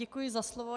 Děkuji za slovo.